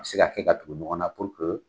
A bɛ se ka kɛ ka tugu ɲɔgɔn na purke